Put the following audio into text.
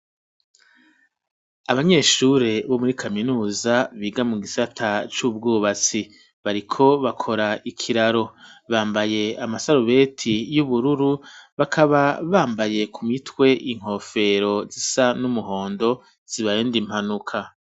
Abanyeshure bo muri kaminuza biga mu gisata c'ubwubatsi bariko bakora ikiraro bambaye amasarubeti y'ubururu bakaba bambaye ku mitwe inkofero zisa n'umuhondo zibarinda impanuka.